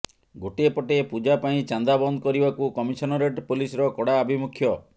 ଗୋଟିଏ ପଟେ ପୂଜା ପାଇଁ ଚାନ୍ଦା ବନ୍ଦ କରିବାକୁ କମିଶନରେଟ ପୋଲିସର କଡା ଆଭିମୁଖ୍ୟ